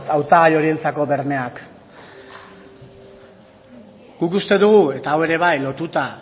hautagai horientzako bermeak guk uste dugu eta hau ere bai lotuta